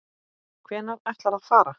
Hvenær ætlarðu að fara?